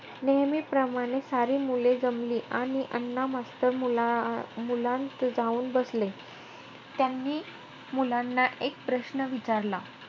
नेहमीप्रमाणे सारी मुले जमली. आणि अण्णा मास्तर मुला~ मुलांत जाऊन बसले. त्यांनी मुलांना एक प्रश्न विचारला.